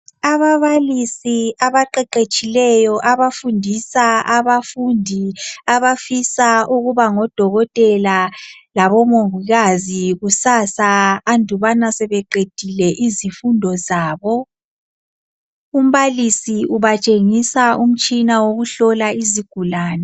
Ababalisi abaqeqetshileyo abafundisa abafundi abafisa ukuba ngodokotela labomongikazi kusasa andubana sebeqedile izifundo zabo. Umbalisi ubatshengisa umtshina wokuhlola izigulani.